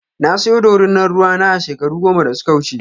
Na saya ɗorina ruwa na a shekaru goma da suka wuce.